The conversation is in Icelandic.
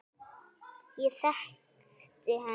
Ég þekkti hana.